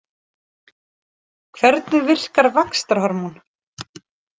Hvernig virkar vaxtarhormón?